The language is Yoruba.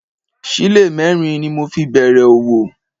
Sílè mẹ́rin ni mo fi bẹ̀rẹ̀ òwò